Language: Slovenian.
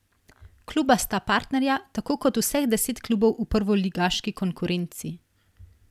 Kluba sta partnerja, tako kot vseh deset klubov v prvoligaški konkurenci.